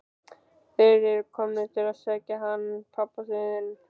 Þeir eru komnir til að sækja hann pabba þinn.